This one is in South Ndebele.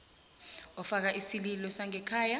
ofaka isililo sangekhaya